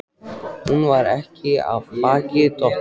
Hún er ekki af baki dottin.